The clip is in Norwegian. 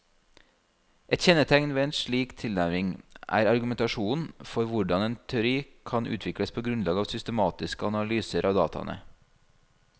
Et kjennetegn ved en slik tilnærming er argumentasjonen for hvordan teori kan utvikles på grunnlag av systematiske analyser av dataene.